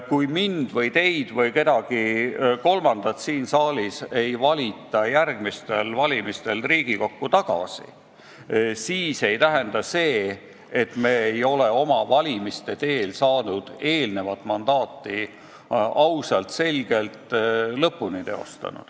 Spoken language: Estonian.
Kui mind või teid või kedagi kolmandat siin saalis ei valita järgmistel valimistel Riigikokku tagasi, siis see ei tähenda seda, et me ei ole oma senist mandaati ausalt lõpuni teostanud.